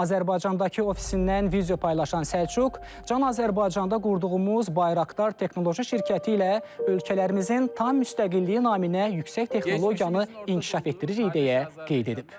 Azərbaycandakı ofisindən video paylaşan Səlcuq, Can Azərbaycanda qurduğumuz Bayraqdar Texnoloji şirkəti ilə ölkələrimizin tam müstəqilliyi naminə yüksək texnologiyanı inkişaf etdiririk deyə qeyd edib.